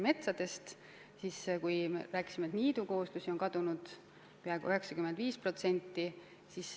Ma märkisin, et niidukooslustest on kadunud peaaegu 95%.